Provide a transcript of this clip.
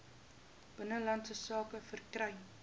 binnelandse sake verkry